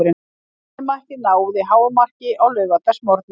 Leynimakkið náði hámarki á laugardagsmorgni.